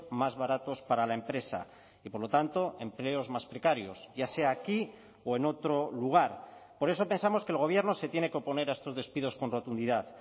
más baratos para la empresa y por lo tanto empleos más precarios ya sea aquí o en otro lugar por eso pensamos que el gobierno se tiene que oponer a estos despidos con rotundidad